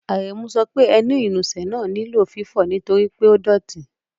Árẹ̀mú sọ pé ẹ̀nì-ìnúsẹ̀ náà ní lọ̀ fífọ̀̀ ntorípẹ̀ o dọ́tì.